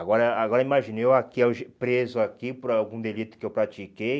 Agora agora imaginei eu aqui alge preso aqui por algum delito que eu pratiquei,